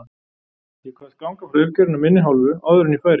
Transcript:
Ég kvaðst ganga frá uppgjörinu af minni hálfu áður en ég færi.